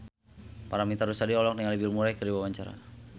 Paramitha Rusady olohok ningali Bill Murray keur diwawancara